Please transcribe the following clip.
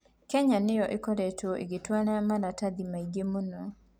Kenya nĩ yo ĩkoretwo ĩgĩtwara maratathi maingĩ mũno.